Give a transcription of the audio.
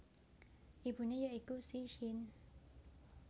Ibune ya iku Qi Xin